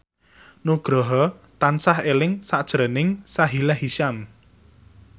Nugroho tansah eling sakjroning Sahila Hisyam